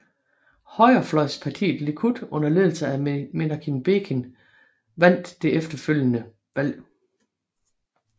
Højrefløjspartiet Likud under ledelse af Menachem Begin vandt det efterfølgende valg